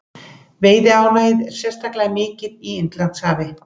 Veiðiálagið er sérstaklega mikið í Indlandshafi.